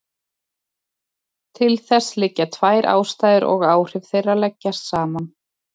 Til þess liggja tvær ástæður og áhrif þeirra leggjast saman.